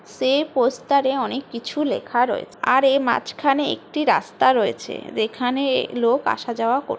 সে poster এ অনেক কিছু লেখা রয়ে--আর এ মাঝখানে একটি রাস্তা রয়েছে যেখানেএ লোক আসা যাওয়া কর--